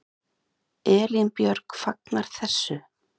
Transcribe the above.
Elín Björg fagnar þessu.